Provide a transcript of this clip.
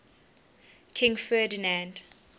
king ferdinand